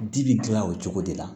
Di bi dilan o cogo de la